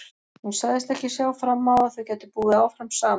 Hún sagðist ekki sjá fram á að þau gætu búið áfram saman.